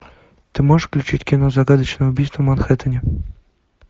ты можешь включить кино загадочное убийство в манхэттэне